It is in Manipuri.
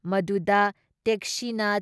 ꯃꯗꯨꯗ ꯇꯦꯛꯁꯤꯅ